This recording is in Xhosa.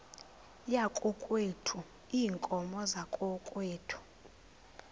yakokwethu iinkomo zakokwethu